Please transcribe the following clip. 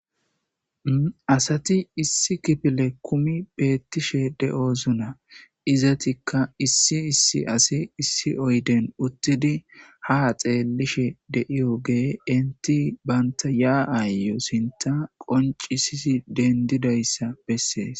Asayi issi kifile kumi beetishe de'osona izeti issi issi asi issi issi oyden uttidi haa xeelishe de'iyogey enti banta yaa'ayo sontja qoncisidi dendidaus beetees.